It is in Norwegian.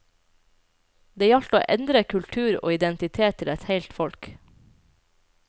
Det gjaldt å endre kultur og identitet til eit heilt folk.